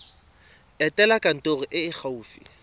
etela kantoro e e gaufi